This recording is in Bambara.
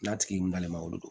N'a tigi n'a ma wolo